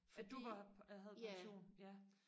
fordi ja